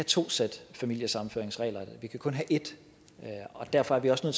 to sæt familiesammenføringsregler vi kan kun have et derfor er vi også nødt